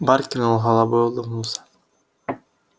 барт кивнул головой улыбнулся